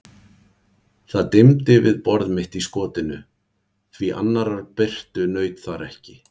Það dimmdi við borð mitt í skotinu, því annarrar birtu naut þar ekki.